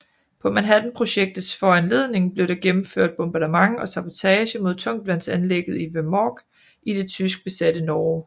På Manhattanprojektets foranledning blev der gennemført bombardement og sabotage mod tungtvandsanlægget i Vemork i det tyskbesatte Norge